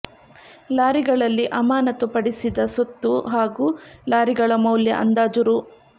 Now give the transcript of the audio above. ಲಾರಿಗಳಲ್ಲಿ ಅಮಾನತು ಪಡಿಸಿದ ಸೊತ್ತು ಹಾಗೂ ಲಾರಿಗಳ ಮೌಲ್ಯ ಅಂದಾಜು ರೂ